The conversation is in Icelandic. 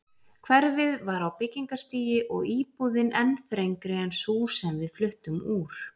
Hverfið var á byggingarstigi og íbúðin enn þrengri en sú sem við fluttum úr.